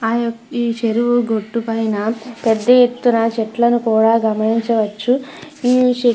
అయి ఈ చెరువు గట్టు పైన పెద్ద ఎత్తున చెట్లను కూడా గమనించవచ్చు. ఈ చెట్ల --